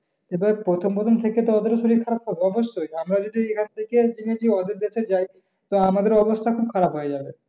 এবার প্রথম প্রথম থেকে তো ওদের ও শরীর খারাপ হবে। অবশ্যই আমরা যদি এখান থেকে ওদের দেশে যাই তো, আমাদের ও অবস্থা খুব খারপ হয়ে যাবে।